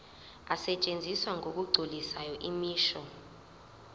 asetshenziswa ngokugculisayo imisho